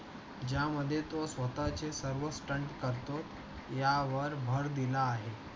ज्या मध्ये तो स्वतः चे सर्व stunt करतो यावर भर दिला आहे.